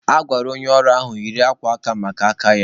A gwara onye ọrụ ahụ yiri akwa aka maka aka ya.